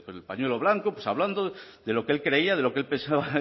el pañuelo blanco pues hablando de lo que él creía de lo que él pensaba